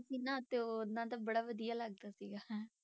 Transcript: ਸੀ ਨਾ ਤੇ ਉਹਨਾਂ ਦਾ ਬੜਾ ਵਧੀਆ ਲੱਗਦਾ ਸੀਗਾ।